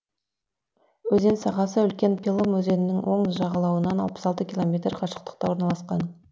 өзен сағасы үлкен пелым өзенінің оң жағалауынан алпыс алты километр қашықтықта орналасқан